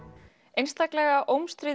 einstaklega